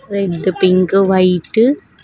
red pink white --